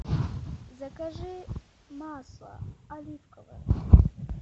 закажи масло оливковое